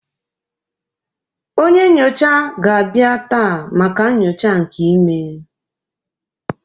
Onye nyocha ga-abịa taa maka nyocha nke imee